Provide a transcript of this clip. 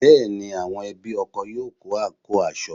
Bẹ́ẹ̀ ni, àwọn ẹbí ọkọ yóò kó àǹkóò aṣọ